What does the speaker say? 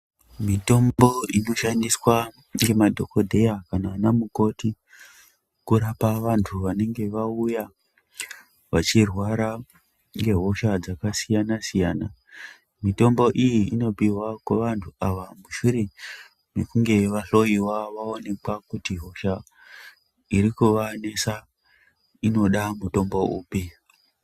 Mitombo inoshandiswa ngemadhogodheya kana anamukoti kurapa vantu vanenge vauya vachirwara ngehosha dzakasiyana-siyana. Mitombo iyi inopiwa kuvantu ava mushure mekunge vahloyiwa vaonekwa kuti hosha irikuvanesa irikuda mutombo upi.